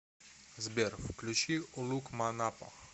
сбер включи улукманапо